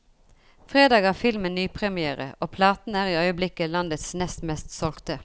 Fredag har filmen nypremière, og platen er i øyeblikket landets nest mest solgte.